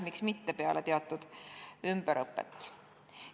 Miks mitte peale teatud ümberõpet?